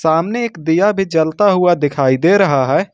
सामने एक दिया भी चलता हुआ दिखाई दे रहा है।